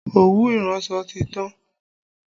Òwú iranso ti tán